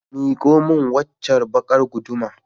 Mikomin waccar baƙar guduma.